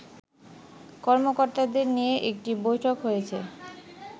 কর্মকর্তাদের নিয়ে একটি বৈঠক হয়েছে